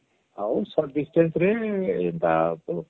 ଆଉ short Distance ରେ ଏଟା ..